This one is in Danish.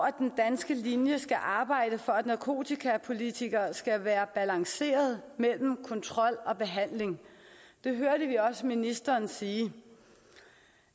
at den danske linje skal arbejde for at narkotikapolitikker skal være balanceret mellem kontrol og behandling det hørte vi også ministeren sige